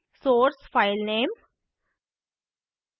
source filename